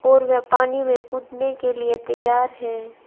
और वे पानी में कूदने के लिए तैयार हैं।